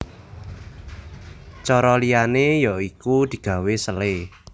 Cara liyane ya iku digawe selai